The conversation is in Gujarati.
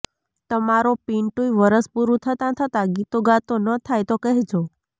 તમારો પિન્ટુય વરસ પૂરું થતાં થતાં ગીતો ગાતો ન થાય તો કહેજો